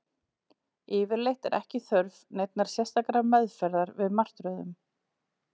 Yfirleitt er ekki þörf neinnar sérstakrar meðferðar við martröðum.